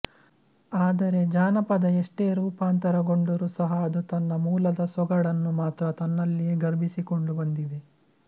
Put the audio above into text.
ಆದರೆ ಜಾನಪದ ಎಷ್ಟೇ ರೂಪಾಂತರಗೊಂಡರೂ ಸಹ ಅದು ತನ್ನ ಮೂಲದ ಸೊಗಡನ್ನು ಮಾತ್ರ ತನ್ನಲಿಯೆ ಗರ್ಭೀಸಿಕೊಂಡು ಬಂದಿದೆ